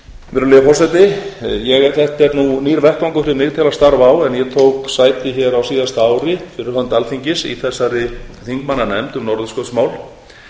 virðulegi forseti þetta er nú nýr vettvangur fyrir mig til að starfa á en ég tók sæti hér á síðasta ári fyrir hönd alþingis í þessari þingmannanefnd um norðurskautsmál